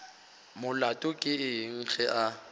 molato ke eng ge a